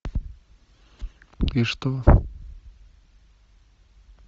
и что